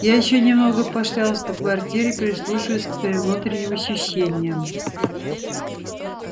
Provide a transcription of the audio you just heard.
я ещё немного пошлялась по квартире прислушиваясь к своим внутренним ощущениям